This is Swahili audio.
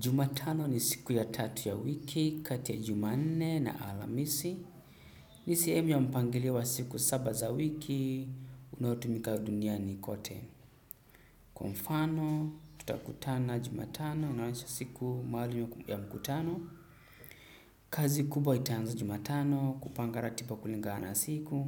Jumatano ni siku ya tatu ya wiki, kati ya jumanne na alhamisi. Ni sehemu ya mpangilio wa siku saba za wiki, unaotumika duniani kote. Kwa mfano tutakutana jumatano inaonyesha siku maalum ya mkutano. Kazi kubwa itaanza jumatano, kupanga ratiba kulingana na siku.